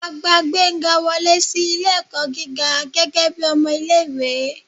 a gbá gbenga wọle si ilé-ẹkọ gígá gẹgẹbi ọmọ ìlé-ìwé